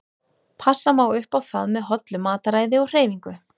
Passa má upp á það með hollu mataræði og hreyfingu.